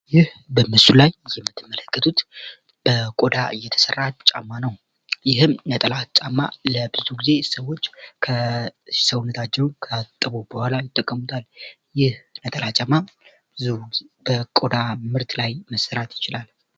ይህ በምስሉ ላይ የምትመለከቱት ከቆዳ የተሰራ ጫማ ነው። ይህም ነጠላ ጫማ ብዙውን ጊዜ ሰዎች ሰውነታቸውን ከታጠቡ በኋላ ይጠቀሙበታል። ይህ ነጠላ ጫማ በቆዳ ምርት መሰራት ይችላል።